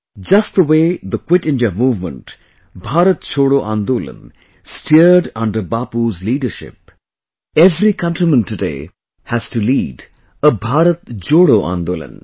Just the way the Quit India Movement, Bharat Chhoro Andolan steered under Bapu's leadership, every countryman today has to lead a Bharat Jodo Andolan